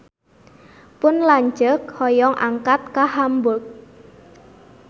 Pun lanceuk hoyong angkat ka Hamburg